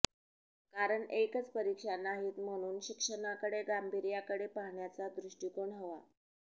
कारण एकच परीक्षा नाहीत म्हणून शिक्षणाकडे गांभीर्याकडे पाहण्याचा दृष्टिकोन हवा